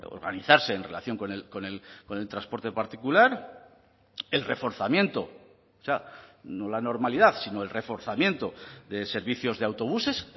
organizarse en relación con el transporte particular el reforzamiento o sea no la normalidad sino el reforzamiento de servicios de autobuses